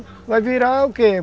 Vai virar o quê?